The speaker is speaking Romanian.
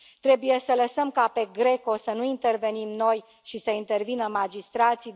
Trebuie să lăsăm ca pe GRECO să nu intervenim noi și să intervină magistrații.